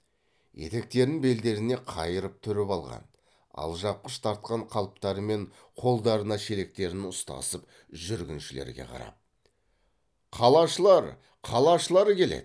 етектерін белдеріне қайырып түріп алған алжапқыш тартқан қалыптарымен қолдарына шелектерін ұстасып жүргіншілерге қарап қалашылар қалашылар келеді